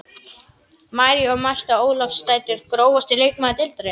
María og Marta Ólafsdætur Grófasti leikmaður deildarinnar?